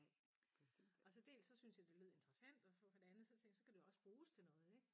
Og så dels så syntes jeg det lød interessant og så for det andet så kan det jo også bruges til noget ik